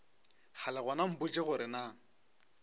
kgale gona mpotše gore na